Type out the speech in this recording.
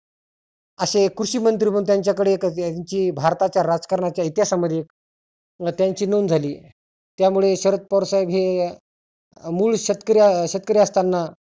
असे कृषी मंत्री म्हणुन त्याच्याकडे एक जी भारताच्या राजकारणाच्या इतिहासामध्ये व त्यांची नोंद झाली. त्यामुळे शरद पवार साहेब हे मुळ शेत शेतकरी असताना